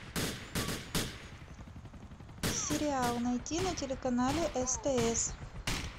сериал найти на телеканале стс